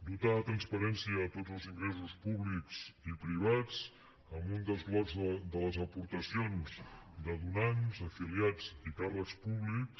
dotar de transparència a tots els ingressos públics i privats amb un desglossament de les aportacions de donants afiliats i càrrecs públics